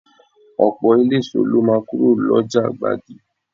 Ọ̀pọ̀ eléso lọ máa kúrò lọ́jà gbági